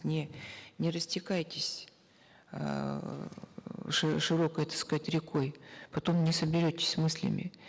не не растекайтесь эээ широкой так сказать рекой потом не соберетесь с мыслями